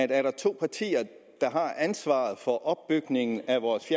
der er to partier der har ansvaret for opbygningen af vores